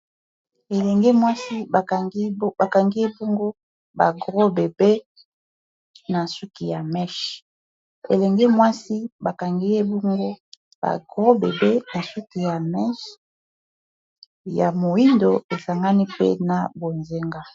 Elenge mwasi bakangi ye bongo ba gros bebe na suki ya mèche, elenge mwasi bakangi ye bongo ba gros bebe na suki ya mèche ya moyindo esangani mpe na bonzenga.